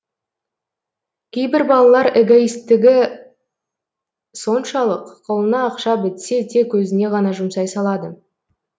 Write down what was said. кейбір балалар эгоитстігі соншалық қолына ақша бітсе тек өзіне ғана жұмсай салады